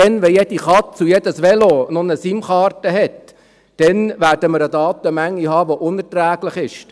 Wenn jede Katze und jedes Velo noch eine SIM-Karte haben, werden wir eine Datenmenge haben, die unerträglich ist.